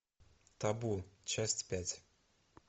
табу часть пять